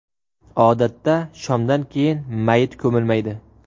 Odatda shomdan keyin mayit ko‘milmaydi.